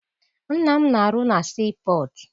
Nna m na-arụ na sii pọtụ.